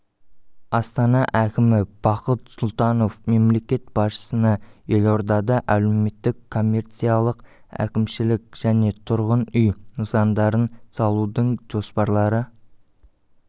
астана әкімі бақыт сұлтанов мемлекет басшысына елордада әлеуметтік коммерциялық әкімшілік және тұрғын үй нысандарын салудың жоспарлары